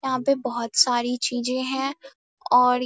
यहाँ पे बहोत सारी चीजें हैं और --